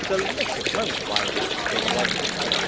But the delicious moment of irony came right at the end.